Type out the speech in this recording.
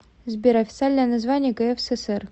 сбер официальное название кфсср